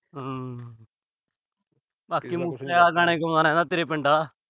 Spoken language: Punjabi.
ਹੂੰ। ਬਾਕੀ ਮੂਸੇ ਆਲੇ ਤੋਂ ਗਾਣੇ ਗੁਆ ਲੈਣਾ, ਤੇਰੇ ਪਿੰਡ ਦਾ।